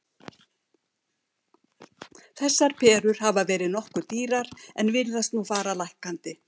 Þessar perur hafa verið nokkuð dýrar en virðast nú fara lækkandi.